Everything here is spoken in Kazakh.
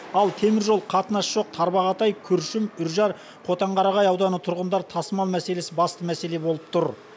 ал теміржол қатынас жоқ тарбағатай күршім үржар котанқарағай ауданы тұрғындар тасымал мәселесі басты мәселе болып тұр